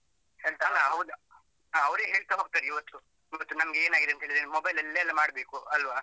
ಅವರೇ ಹೇಳ್ತಾ ಹೋಗ್ತಾರೆ ಇವತ್ಗೂ, ಮತ್ತೆ ನಮ್ಗೆ ಏನಾಗಿದೇಂತ ಹೇಳಿ mobile ಅಲ್ಲೇ ಎಲ್ಲ ಮಾಡ್ಬೇಕು ಅಲ್ವಾ?